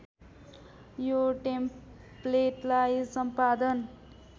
यो टेम्प्लेटलाई सम्पादन